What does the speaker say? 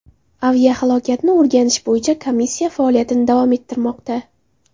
Aviahalokatni o‘rganish bo‘yicha komissiya faoliyatini davom ettirmoqda.